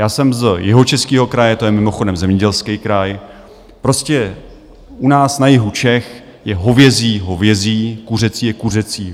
Já jsem z Jihočeského kraje, to je mimochodem zemědělský kraj, prostě u nás na jihu Čech je hovězí hovězí, kuřecí je kuřecí.